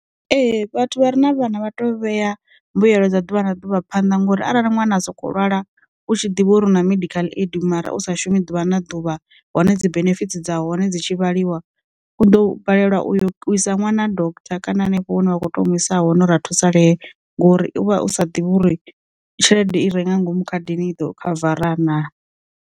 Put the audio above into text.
Ee vhathu vha re na vhana vha to vhea mbuyelo dza ḓuvha na ḓuvha phanḓa ngori arali ṅwana a soko lwala u tshi ḓivha uri hu na medical aid mara u sa shumi ḓuvha na ḓuvha hone dzi benefit dza hone dzi tshi vhaliwa, u ḓo balelwa u isa ṅwana ha doktha kana hanefho hune wa kho to mu isa hone ra thusalee ngori uvha u sa ḓivhi uri tshelede i renga ngomu khadini i ḓo khavarana.